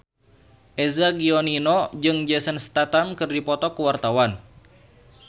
Eza Gionino jeung Jason Statham keur dipoto ku wartawan